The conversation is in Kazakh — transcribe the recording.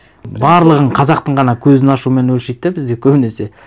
барлығын қазақтың ғана көзін ашумен өлшейді де бізде көбінесе